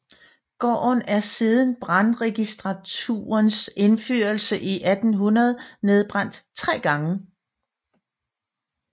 Gården er siden brandregistraturens indførelse i 1800 nedbrændt tre gange